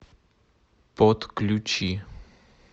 подключи